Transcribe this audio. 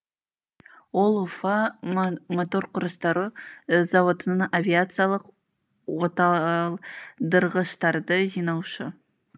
ол уфа моторқұрастыру зауытының авиациялық оталдырғыштарды жинаушы